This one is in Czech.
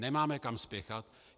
Nemáme kam spěchat.